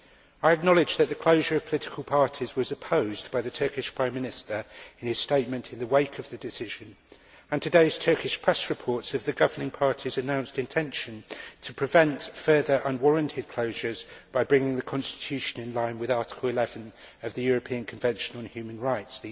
I acknowledge that the closure of political parties was opposed by the Turkish Prime Minister in his statement in the wake of the decision, and today's Turkish press reports the governing party's announced intention to prevent further unwarranted closures by bringing the constitution into line with Article 11 of the European Convention on Human Rights.